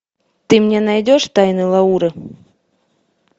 ты мне найдешь тайны лауры